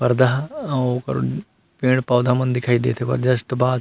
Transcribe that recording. परदा ओ ओकर पेड़-पौधा मन दिखई देत हे ओकर जस्ट बाद--